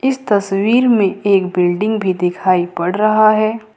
इस तस्वीर में एक बिल्डिंग भी दिखाई पड़ रहा है।